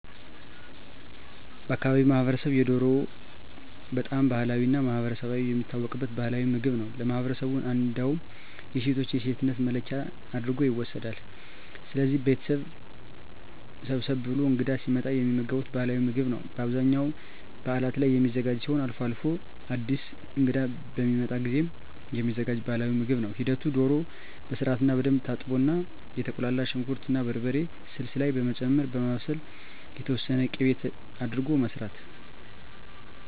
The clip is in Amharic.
በአካባቢው ማህበረሰብ የዶሮ በጣም ባህላዊ እና ማህበረሰብ የሚታወቅበት ባህላዊ ምግብ ነው ለማህበረሠቡ እንዳውም የሴቶች የሴትነት መለኪያ አድርጎ ይወስደዋል። ስለዚህ ቤተሠብ ሰብሰብ ብሎ እንግዳ ሲመጣ የሚመገቡት ባህላዊ ምግብ ነው በአብዛኛው በዓላት ላይ የሚዘጋጅ ሲሆን አልፎ አልፎም አድስ እንግዳ በሚመጣ ጊዜም የሚዘጋጅ ባህልዊ ምግብ ነው ሂደቱ ዶሮ በስርዓትና በደንብ ትታጠብና የተቁላላ ሽንኩር እና በርበሬ ስልስ ላይ በመጨመር በማብሰል የተወሠነ ቂቤ አድርጎ መስራት